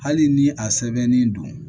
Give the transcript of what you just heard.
Hali ni a sɛbɛnnen don